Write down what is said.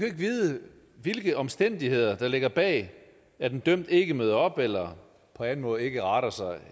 ikke vide hvilke omstændigheder der ligger bag at en dømt ikke møder op eller på anden måde ikke retter sig